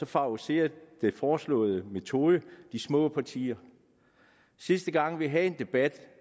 favoriserer den foreslåede metode de små partier sidste gang vi havde debat